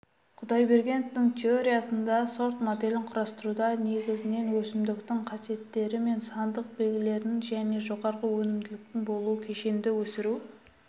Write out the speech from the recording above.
құдайбергеновтың теориясында сорт моделін құрастыруда негізінен өсімдіктің қасиеттері мен сандық белгілерінің және жоғары өнімділіктің болуы кешенді өсіру